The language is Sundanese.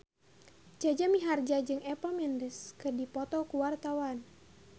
Jaja Mihardja jeung Eva Mendes keur dipoto ku wartawan